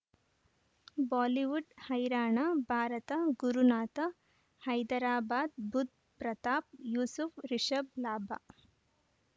Bollywood ಹೈರಾಣ ಭಾರತ ಗುರುನಾಥ ಹೈದರಾಬಾದ್ ಬುಧ್ ಪ್ರತಾಪ್ ಯೂಸುಫ್ ರಿಷಬ್ ಲಾಭ